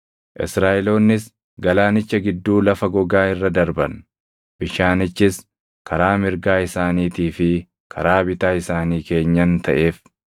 Israaʼeloonnis galaanicha gidduu lafa gogaa irra darban; bishaanichis karaa mirgaa isaaniitii fi karaa bitaa isaanii keenyan taʼeef.